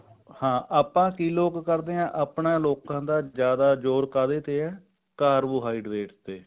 ਹਾਂ ਆਪਾਂ ਕੀ ਲੋਕ ਕਰਦੇ ਹਾਂ ਆਪਣਾ ਲੋਕਾਂ ਦਾ ਜਿਆਦਾ ਜ਼ੋਰ ਕਾਹਦੇ ਤੇ ਹੈ carbohydrate ਤੇ